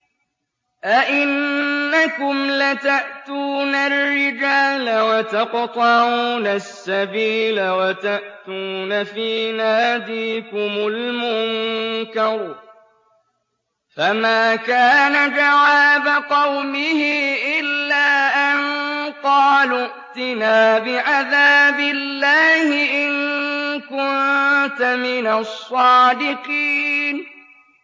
أَئِنَّكُمْ لَتَأْتُونَ الرِّجَالَ وَتَقْطَعُونَ السَّبِيلَ وَتَأْتُونَ فِي نَادِيكُمُ الْمُنكَرَ ۖ فَمَا كَانَ جَوَابَ قَوْمِهِ إِلَّا أَن قَالُوا ائْتِنَا بِعَذَابِ اللَّهِ إِن كُنتَ مِنَ الصَّادِقِينَ